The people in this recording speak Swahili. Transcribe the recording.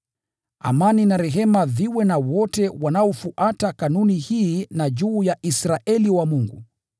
Amani na rehema viwe na wote wanaofuata kanuni hii, na juu ya Israeli wa Mungu.